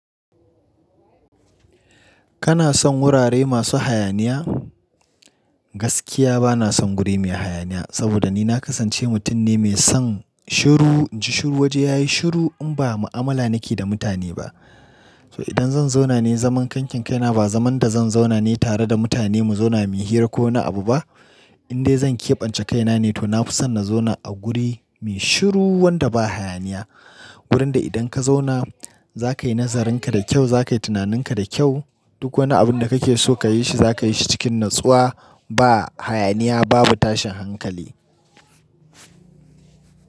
Kana son wurare masu hayaniya? Gaskiya bana son guri mai hayaniya, saboda ni na kasance mutum ne mai son shiru. Inji Shiru waje yayi shiru in ba mu'amala nake da mutane ba. To idan zan zauna ne zaman ƙanƙin kaina ba zaman da zan zauna ne tare da mutane mu zauna muyi hira ko wani abu ba. In dai zan keɓance kaina ne to na fi son na zauna a guri mai shiru wanda ba hayaniya. Gurin da idan ka zauna zakayi nazarinka da kyau, zakayi tunaninka da kyau. Duk wani abun da kake so kayi shi zakayi shi cikin natsuwa. Ba hayaniya babu tashin hankali.